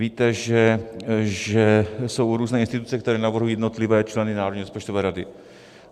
Víte, že jsou různé instituce, které navrhují jednotlivé členy Národní rozpočtové rady.